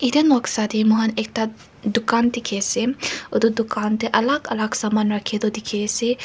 etu noksa tae moi kan ekta dukan dikhiase edu dukan tae alak alak saman rakhitu dikhiase.